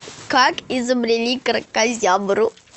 как изобрели кракозябру